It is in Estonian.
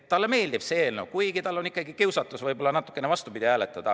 Talle meeldib see eelnõu, kuigi tal on võib-olla ikkagi kiusatus natukene vastupidi hääletada.